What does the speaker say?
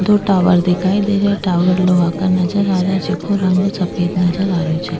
दो टावर दिखाई देरहा टावर लोहा का नजर आ रहा जेको रंग सफ़ेद नज़र आ रेहोछे।